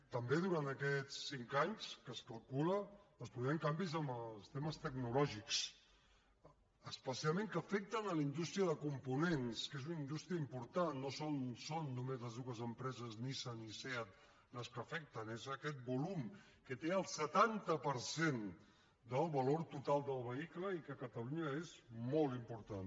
també durant aquests cinc anys que es calcula es produiran canvis en els temes tecnològics especialment que afecten la indústria de components que és una indústria important no són només les dues empreses nissan i seat les que afecten és aquest volum que té el setanta per cent del valor total del vehicle i que a catalunya és molt important